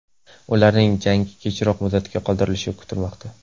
Ularning jangi kechroq muddatga qoldirilishi kutilmoqda.